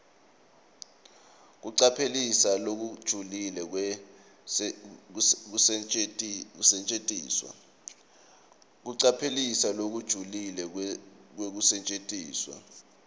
kucaphelisisa lokujulile kwekusetjentiswa